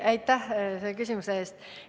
Aitäh küsimuse eest!